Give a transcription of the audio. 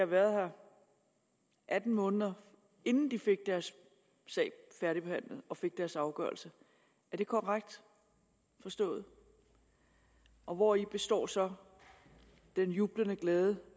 været her atten måneder inden de fik deres sag færdigbehandlet og fik deres afgørelse er det korrekt forstået og hvori består så den jublende glæde